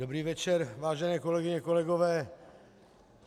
Dobrý večer, vážené kolegyně, kolegové.